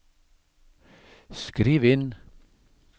skriv inn